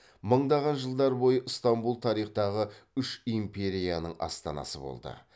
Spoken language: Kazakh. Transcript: мыңдаған жылдар бойы ыстамбұл тарихтағы үш империяның астанасы болды